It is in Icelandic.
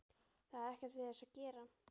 Það er ekkert við þessu að gera.